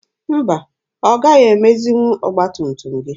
Mba, ọ gaghị emezinwu ọgba tum tum gị.